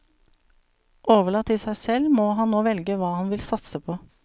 Overlatt til seg selv må han nå velge hva han vil satse på.